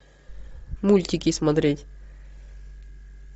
мультики смотреть